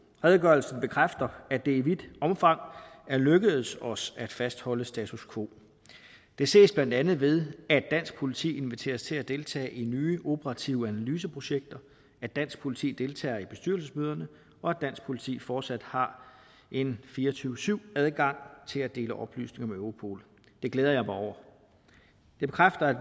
redegørelsen bekræfter at det i vidt omfang er lykkedes os at fastholde status quo det ses blandt andet ved at dansk politi inviteres til at deltage i nye operative analyseprojekter at dansk politi deltager i bestyrelsesmøderne og at dansk politi fortsat har en fire og tyve syv adgang til at dele oplysninger med europol det glæder jeg mig over det bekræfter